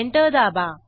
enter दाबा